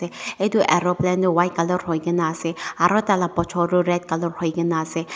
se edu aeroplane tu white colour huikaena ase aro taila bochor tu red colour huikaena ase.